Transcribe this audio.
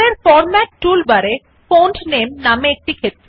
উপরের format tool বারে font নামে নামে একটি ক্ষেত্র আছে